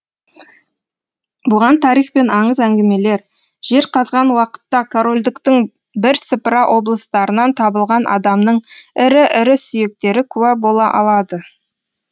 бұған тарих пен аңыз әңгімелер жер қазған уақытта корольдіктің бірсыпыра облыстарынан табылған адамның ірі ірі сүйектері куә бола алады